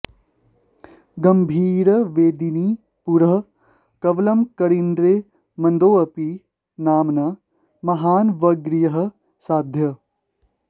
गम्भीरवेदिनि पुरः कवलं करीन्द्रे मन्दोऽपि नाम न महानवगृह्य साध्यः